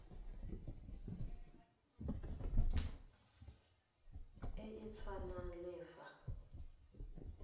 e e tshwanang le fa